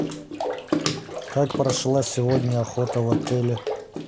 как прошла сегодня охота в отеле